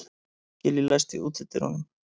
Gillý, læstu útidyrunum.